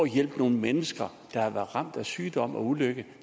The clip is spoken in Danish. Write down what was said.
hjælpe nogle mennesker der har været ramt af sygdom og ulykke